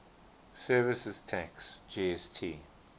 services tax gst